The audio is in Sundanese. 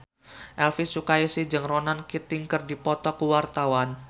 Elvi Sukaesih jeung Ronan Keating keur dipoto ku wartawan